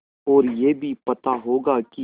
और यह भी पता होगा कि